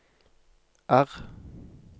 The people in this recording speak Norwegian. R